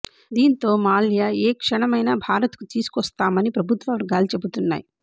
దీంతో మాల్యా ఏ క్షణమైనా భారత్కు తీసుకొస్తామని ప్రభుత్వ వర్గాలు చెబుతున్నాయి